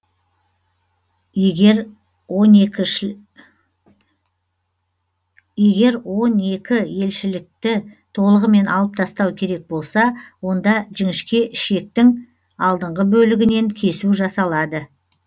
егер онекіелішекті толығымен алып тастау керек болса онда жінішке ішектің алдыңғы бөлігінен кесу жасалады